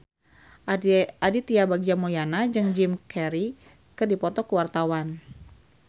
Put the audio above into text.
Aditya Bagja Mulyana jeung Jim Carey keur dipoto ku wartawan